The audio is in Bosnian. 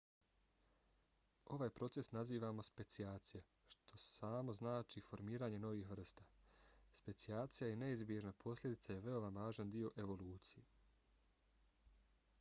ovaj proces nazivamo specijacija što samo znači formiranje novih vrsta. specijacija je neizbježna posljedica i veoma važan dio evolucije